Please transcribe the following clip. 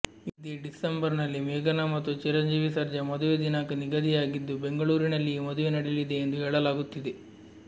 ಇದೇ ಡಿಸೆಂಬರ್ನಲ್ಲಿ ಮೇಘನಾ ಮತ್ತು ಚಿರಂಜೀವಿ ಸರ್ಜಾ ಮದುವೆ ದಿನಾಂಕ ನಿಗದಿಯಾಗಿದ್ದು ಬೆಂಗಳೂರಿನಲ್ಲಿಯೇ ಮದುವೆ ನಡೆಯಲಿದೆ ಎಂದು ಹೇಳಲಾಗುತ್ತಿದೆ